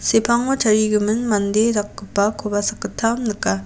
sepango tarigimin mande dakgipakoba sakgittam nika.